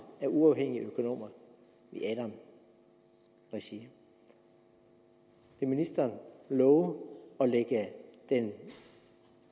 af uafhængige økonomer i adam regi vil ministeren love at lægge den